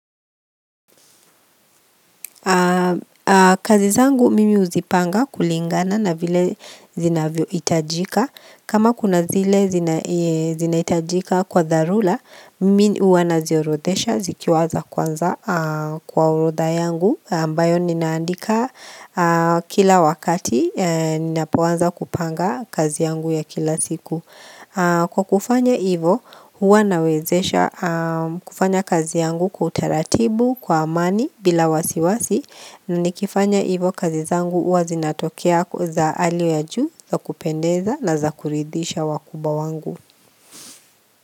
Kazi zangu mimi uzipanga kulingana na vile zinavyoitajika. Kama kuna zile zinaitajika kwa dharula, mimi uwa naziorodesha zikiwa za kwanza kwa orodha yangu ambayo ninaandika kila wakati ninapoanza kupanga kazi yangu ya kila siku. Kwa kufanya ivo huwa nawezesha kufanya kazi yangu kwa utaratibu kwa amani bila wasiwasi na nikifanya ivo kazi zangu huwa zinatokea za alio ya juu za kupendeza na za kuridhisha wakubwa wangu.